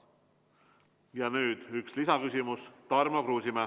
Ja nüüd üks lisaküsimus, Tarmo Kruusimäe.